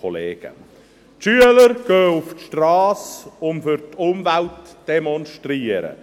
Die Schüler gehen auf die Strasse, um für die Umwelt zu demonstrieren;